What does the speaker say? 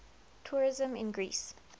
tourism in greece